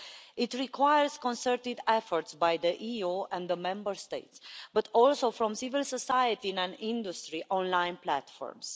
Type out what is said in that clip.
It requires concerted efforts by the EU and the Member States, but also from civil society and industry online platforms.